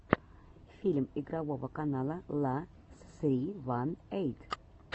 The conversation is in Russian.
фильм игрового канала ла ссри ван эйт